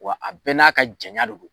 Wa a bɛɛ n'a ka jaɲa de don.